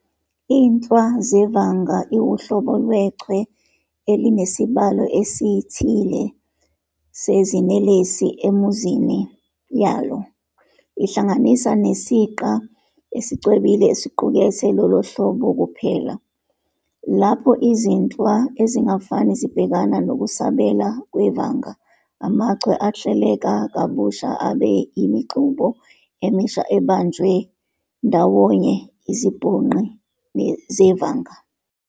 INhlwa zevanga iwuhlobo lwechwe elinesibalo esithile seziNelesi enuzini yalo, ihlanganisa nesiqa esicwebile esiqukethe lolohlobo kuphela. Lapho izinhlwa ezingafani zibhekana nokusabela kwevanga, amachwe ahleleka kabusha abe yimixube emisha ebanjwe ndawonye izibhonqi zevanga.